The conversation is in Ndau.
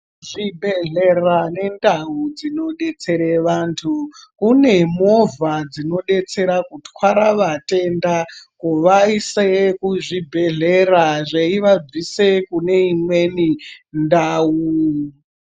Zvibhedhlera nendau dzinodetsere vantu kune movha dzinodetsera kutwara vatenda kuvaise kuzvibhedhlera zveivabvise kune imweni ndau.